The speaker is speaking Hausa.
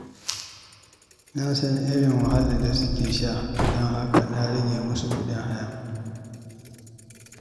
Na san irin wahalar da suke sha, don haka na rage musu kuɗin haya.